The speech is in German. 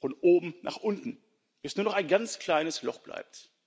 von oben nach unten, bis nur noch ein ganz kleines Loch bleibt.